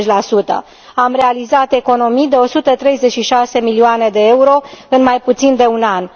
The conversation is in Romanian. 20 Am realizat economii de 136 milioane de euro în mai puțin de un an.